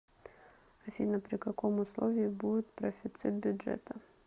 афина при каком условии будет профицит бюджета